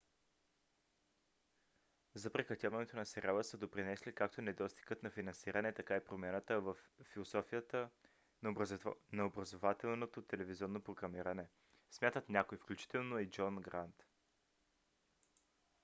за прекратяването на сериала са допринесли както недостигът на финансиране така и промяната във философията на образователното телевизионно програмиране смятат някои включително джон грант